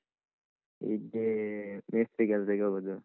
ಇಲ್ಲಿ ಮೇಸ್ತ್ರಿ ಕೆಲ್ಸಕ್ಕೆ ಹೋಗೊದು.